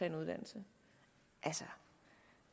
en uddannelse